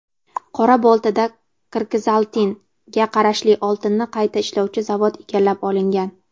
Qora-Boltada "Kirgizaltin"ga qarashli oltinni qayta ishlovchi zavod egallab olingan.